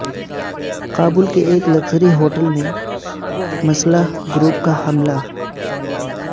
کابل کے ایک luxury hotel میں مسلح گروپ کا حملہ